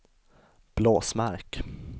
Blåsmark